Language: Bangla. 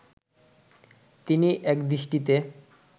তিনি একদৃষ্টিতে